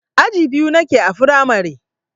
Aji biyu nake a firamare.